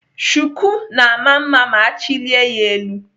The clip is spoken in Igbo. Shuku na-ama mma ma achilie ya elu.